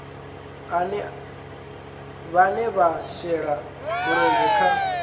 vhane vha shela mulenzhe kha